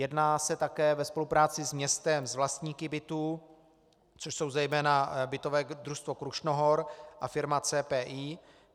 Jedná se také ve spolupráci s městem, s vlastníky bytů, což jsou zejména bytové družstvo Krušnohor a firma CPI.